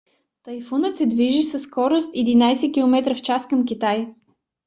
тайфунът се движи със скорост 11 км/ч към китай